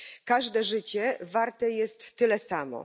Każde życie warte jest tyle samo.